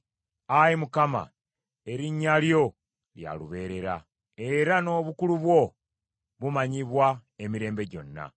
Ayi Mukama , erinnya lyo lya lubeerera, era n’obukulu bwo bumanyibwa emirembe gyonna.